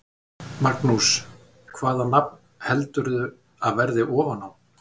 Magnús: Hvaða nafn heldurðu að verði ofan á?